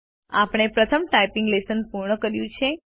આપણે પ્રથમ typing lesson પૂર્ણ કર્યું છે